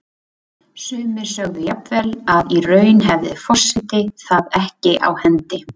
Sumir sögðu jafnvel að í raun hefði forseti það ekki á hendi.